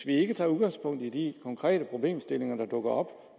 ikke tager udgangpunkt i de konkrete problemstillinger der dukker op og